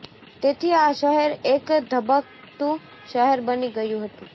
તેથી આ શહેર એક ધબકતું શહેર બની ગયું હતું